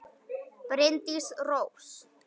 Bryndís Rós.